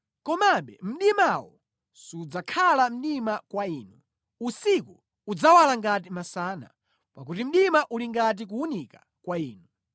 komabe mdimawo sudzakhala mdima kwa Inu; usiku udzawala ngati masana, pakuti mdima uli ngati kuwunika kwa Inu.